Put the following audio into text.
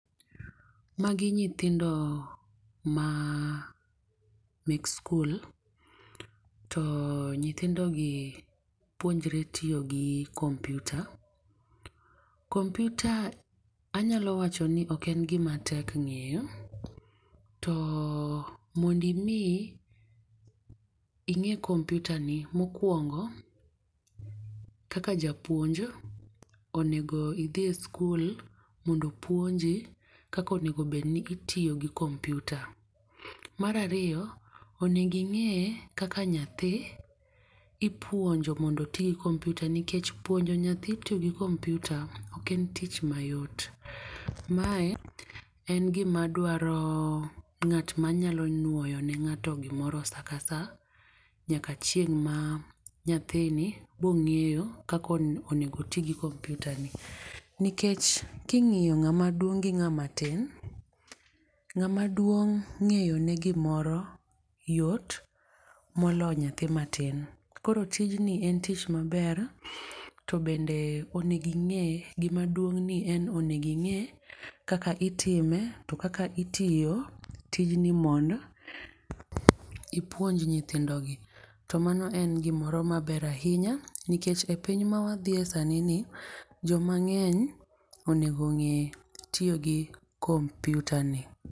Ma gi nyithindo ma mek skul to nyithindo gi puonjre tiyo gi kompyuta. Kompytua anya wacho ni ok en gi ma tek ng'eyo to mondo mi ing'e kompyta ni mokuongo kaka japuonj onego idhi skul mondo opuonji kaka onego bed ni itiyo gi kompyta. Mar ariyo, onego ing'e kaka nyathi ipuonjo mondo oti gi kompyuta nikech puonjo nyathi kompyuta ok en gi ma yot. Mae en gi ma dwaro ng'at ma nyalo nuoyo ne ng'ato gi moro saa ka saa nyaka chieng' ma nyathi biro ng'eyo kaka onego oti gi kompyuta no nikech ki ingiyo ng'ama duong gi ngama ma tin, ng'ama duong ng'eyo ne gi moro yot moloyo nyathi ma tin. Koro tijni en tich ma ber to onego ing'e gi ma duong en ni onego inge kaka itime to akkak itiyo tijni mondo ipuonj nyithindo gi .To mano en gi moro ma ber ainya nikech e piny ma wadhiye sani ni ji mangeny onego ng'e tiyo gi kompyuta ni.